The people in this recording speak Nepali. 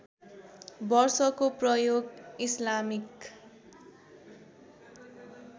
वर्षको प्रयोग इस्लामिक